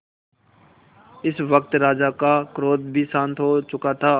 इस वक्त राजा का क्रोध भी शांत हो चुका था